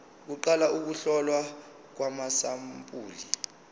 kuqala ukuhlolwa kwamasampuli